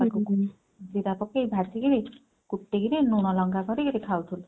ଜିରା ପକେଇ ଭାଜିକିରି କୁଟିକିରି ଲୁଣଲଙ୍କା କରିକିରି ଖାଉଥିଲୁ।